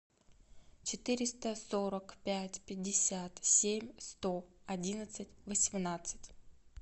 четыреста сорок пять пятьдесят семь сто одиннадцать восемнадцать